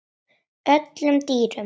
öllum dýrum